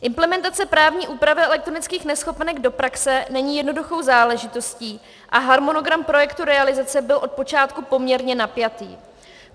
Implementace právní úpravy elektronických neschopenek do praxe není jednoduchou záležitostí a harmonogram projektu realizace byl od počátku poměrně napjatý.